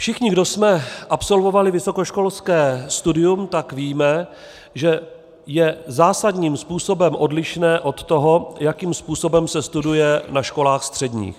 Všichni, kdo jsme absolvovali vysokoškolské studium, tak víme, že je zásadním způsobem odlišné od toho, jakým způsobem se studuje na školách středních.